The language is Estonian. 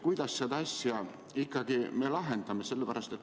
Kuidas me selle asja ikkagi lahendame?